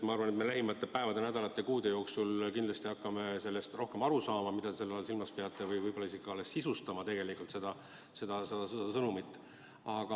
Ma arvan, et me lähimate päevade‑nädalate-kuude jooksul kindlasti hakkame sellest rohkem aru saama, mida te selle all silmas peate, ja võib-olla alles tegelikult seda sõnumit sisustama.